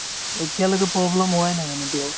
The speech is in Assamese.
এতিয়ালৈকে problem হোৱাই নাই মানে এতিয়াঅ